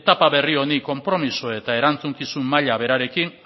etapa berri honi konpromiso eta erantzukizun maila berarekin